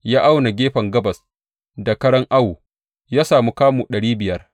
Ya auna gefen gabas da karan awo; ya samu kamu ɗari biyar.